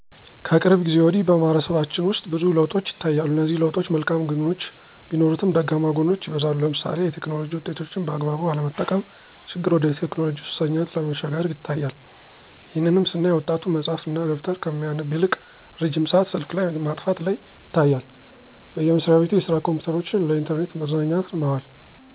ከቅርብ ጊዜ ወዲህ በማህበረሰባችን ውስጥ ብዙ ለውጦች ይታያሉ እነዚህ ለውጦች መልካም ግኖች ቢኖሩትም ደካማ ጎኖች ይበዛሉ ለምሳሌ የቴክኖሎጂ ውጤቶችን በአግባቡ አለመጠቀም ችግር ወደ ቴክኖሎጂ ሱሰኝነት መሸጋገር ይታያል። ይህንንም ስናይ ወጣቱ መፅሀፍ እና ደብተር ከሚያነብ ይልቅ ረጅም ሰአት ስልክ ላይ ማጥፋት ላይ ይታያል። በየመስራቤቱ የስራ ኮምፒዉተሮችን ለኢንተርኔት መዝናኛነት ማዋል።